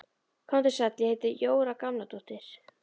Komdu sæll, ég heiti Jóra Gamladóttir